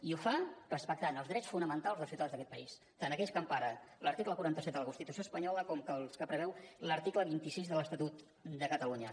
i ho fa respectant els drets fonamentals dels ciutadans d’aquest país tant aquells que empara l’article quaranta set de la constitució espanyola com els que preveu l’article vint sis de l’estatut de catalunya